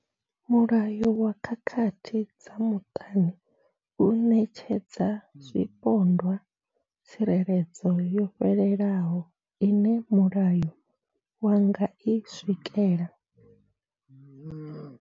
Mulayo wa khakhathi dza muṱani u ṋetshedza zwipondwa tsireledzo yo fhelelaho ine mulayo wa nga i swikela.